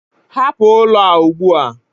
Hapụ ụlọ a ugbu a!